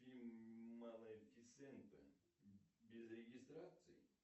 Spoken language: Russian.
фильм малефисента без регистрации